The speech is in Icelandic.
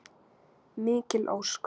Mikil ósköp.